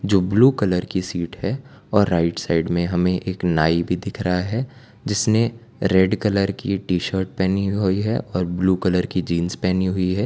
जो blue colour की seat है और राइट साइड में हमें एक नाई भी दिख रहा है जिसने रेड कलर की टी शर्ट पहनी हुई है और ब्लू कलर की जींस पहनी हुई है।